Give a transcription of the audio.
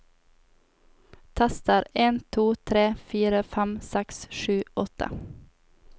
Tester en to tre fire fem seks sju åtte